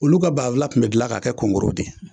Olu ka banfula kun bɛ gilan ka kɛ kongoro de ye